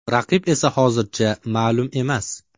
Raqib esa hozircha ma’lum emas.